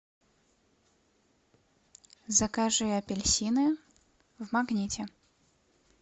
закажи апельсины в магните